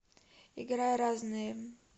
играй разные